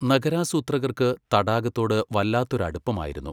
നഗരാസൂത്രകർക്ക് തടാകത്തോട് വല്ലാത്തൊരു അടുപ്പമായിരുന്നു.